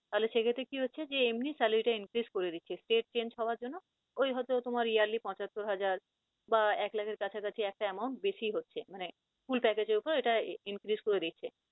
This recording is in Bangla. তাহলে সেক্ষেত্রে কি হচ্ছে যে এমনি salary টা increase করে দিচ্ছে। state change হওয়ার জন্য ওই হয়তো তোমার yearly পঁচাত্তর হাজার বা এক লাখের কাছাকাছি একটা amount বেশি হচ্ছে মানে full package এর উপর এটা increase করে দিচ্ছে।